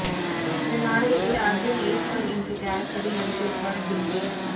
இந்த நாடகத்தில் அர்ஜுன் ஈஸ்வர் என்ற கேரக்டரில் நடித்திருப்பார் டிங்கு